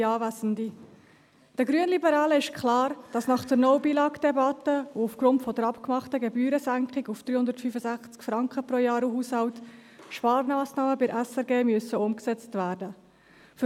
Den Grünliberalen ist es klar, dass nach der «No Billag»-Debatte und aufgrund der vereinbarten Gebührensenkung auf 365 Franken pro Jahr und Haushalt Sparmassnahmen bei der SRG umgesetzt werden müssen.